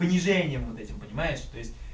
понижением вот этим понимаешь то есть